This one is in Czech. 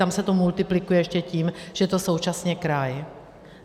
Tam se to multiplikuje ještě tím, že je to současně kraj.